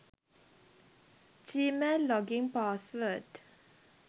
gmail login password